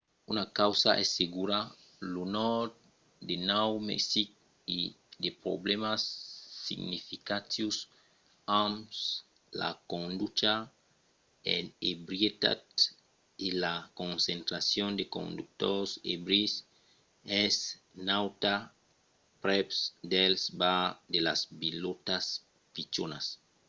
una causa es segura lo nòrd de nòu mexic a de problèmas significatius amb la conducha en ebrietat e la concentracion de conductors ebris es nauta prèp dels bars de las vilòtas pichonas